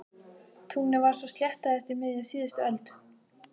Túnið var svo sléttað eftir miðja síðustu öld.